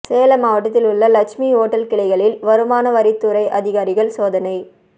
சேலம் மாவட்டத்தில் உள்ள லட்சுமி ஓட்டல் கிளைகளில் வருமானவரித்துறை அதிகாரிகள் சோதனை